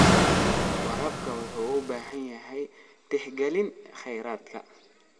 Waraabka wuxuu u baahan yahay tixgelin kheyraadka.